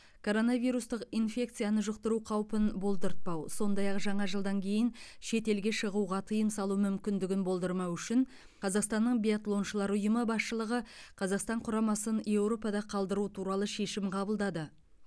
короновирустық инфекцияны жұқтыру қаупін болдыртпау сондай ақ жаңа жылдан кейін шетелге шығуға тыйым салу мүмкіндігін болдырмау үшін қазақстаннан биатлоншылар ұйымы басшылығы қазақстан құрамасын еуропада қалдыру туралы шешім қабылдады